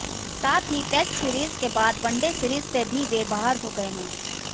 साथ ही test series के बाद वनडे सीरीज से भी वे बाहर हो गए हैं